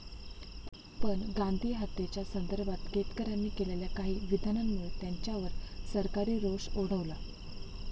पण गांधीहातेच्या संदर्भात केतकरांनी केलेल्या काही विधानांमुळे त्यांच्यावर सरकारी रोष ओढवला.